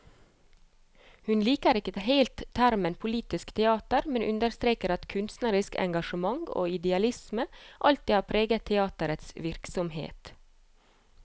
Hun liker ikke helt termen politisk teater, men understreker at kunstnerisk engasjement og idealisme alltid har preget teaterets virksomhet.